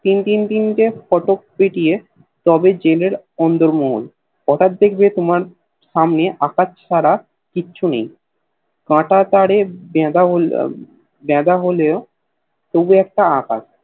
তিন তিন টে ফটক পেরিয়ে তবে জেল এর অন্দর মহল হটাৎ দেখবে তোমার সামনে আকাশ ছাড়া কিছু নেই কাটা তারের গেঁদা হলেও তবু একটা আকার